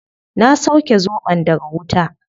Na sauke zobon daga wuta